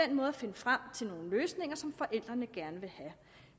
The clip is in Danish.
den måde at finde frem til nogle løsninger som forældrene gerne vil have